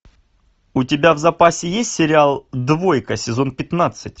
у тебя в запасе есть сериал двойка сезон пятнадцать